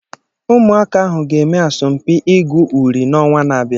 Ụmụaka ahụ ga-eme asọmpi ịgụ uri n'onwa na-abịa.